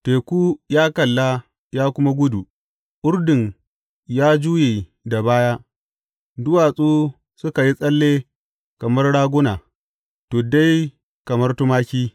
Teku ya kalla ya kuma gudu, Urdun ya juye da baya; duwatsu suka yi tsalle kamar raguna, tuddai kamar tumaki.